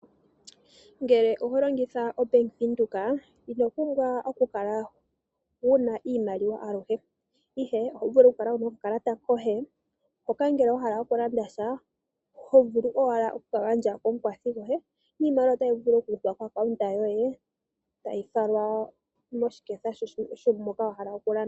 Ngele oho longitha obank Windhoek, ino pumbwa oku kala wuna iimaliwa aluhe, ihe oho vulu oku kala wuna oka kalata koye hoka ngele wa hala oku landa sha , hk vulu owala oku ka gandja ko mukwathi goye, iimaliwa otayi vulu okuza ko account yoye tayi falwa moshiketha moka wa hala oku landa.